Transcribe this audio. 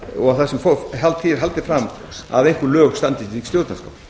og þar sem því er haldið fram að einhver lög standist ekki stjórnarskrá